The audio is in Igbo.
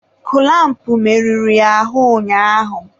kụlampụ merụrụ ya ahụ ụnyaahụ.